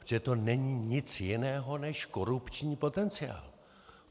Protože to není nic jiného než korupční potenciál.